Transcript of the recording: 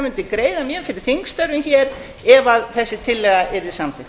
mundi greiða mjög fyrir þingstörfum hér ef þessi tillaga yrði samþykkt